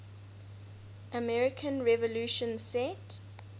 american revolution set